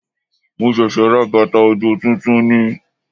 Mo ṣẹ̀ṣẹ̀ ra bàtà òjò tuntun ni